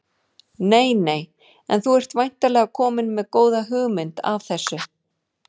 Nei nei En þú ert væntanlega kominn með góða hugmynd að þessu?